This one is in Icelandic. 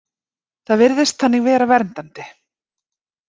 Það virðist þannig vera verndandi.